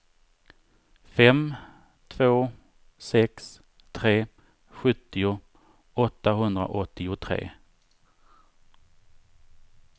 fem två sex tre sjuttio åttahundraåttiotre